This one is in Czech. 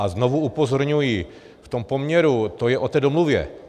A znovu upozorňuji, v tom poměru, to je o té domluvě.